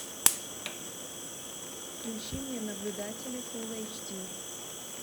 включи мне наблюдатели фулл эйч ди